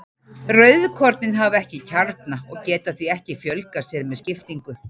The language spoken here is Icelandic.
Rauðkornin hafa ekki kjarna og geta því ekki fjölgað sér með skiptingu.